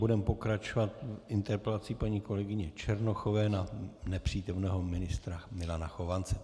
Budeme pokračovat interpelací paní kolegyně Černochové na nepřítomného ministra Milana Chovance.